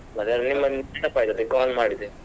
ಮತ್ತೆ ನಿಮ್ಮದ್ ನೆನಪ್ ಆಯ್ತ್ ಅದೇ call ಮಾಡಿದೆ.